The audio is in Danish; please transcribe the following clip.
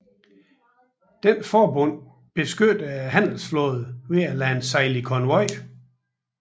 Dette forbund beskyttede handelsflåden ved at lade den sejle i konvoj